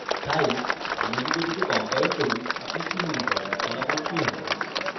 তাই আমরা যদি এটিকে compile করি আপনি কি মনে করেন ফলাফল কি হবে